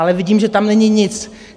Ale vidím, že tam není nic.